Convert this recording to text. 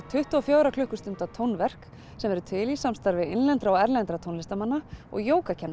tuttugu og fjögurra klukkustunda tónverk sem verður til í samstarfi innlendra og erlendra tónlistarmanna og